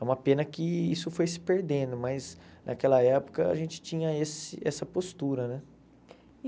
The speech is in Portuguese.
É uma pena que isso foi se perdendo, mas naquela época a gente tinha esse essa postura né.